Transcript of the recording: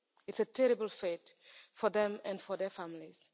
It's a terrible fate for them and for their families.